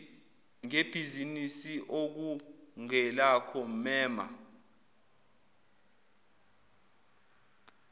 ngebhizinisi okungelakho mema